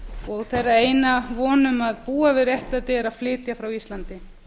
og þeirra eina von um að búa við réttlæti er að flytja frá íslandi